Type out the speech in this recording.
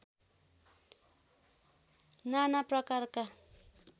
नाना प्रकारका